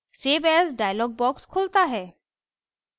save as dialog box खुलता है